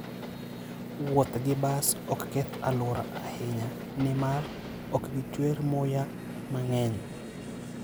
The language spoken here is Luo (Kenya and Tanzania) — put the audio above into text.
Wuoth gi bas ok keth alwora ahinya, nimar ok gichuer muya mang'eny.